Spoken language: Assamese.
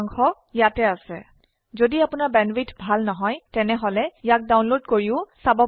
কথন শিক্ষণ প্ৰকল্পৰ সাৰাংশ ইয়াত আছে যদি আপোনাৰ বেণ্ডৱিডথ ভাল নহয় তেনেহলে ইয়াক ডাউনলোড কৰি চাব পাৰে